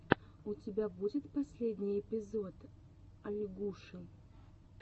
у тебя будет последний эпизод ольгуши